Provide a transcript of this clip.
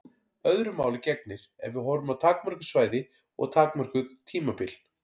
Öðru máli gegnir ef við horfum á takmörkuð svæði og takmörkuð tímabil.